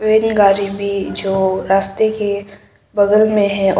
van गाड़ी भी जो रास्ते के बगल में है और--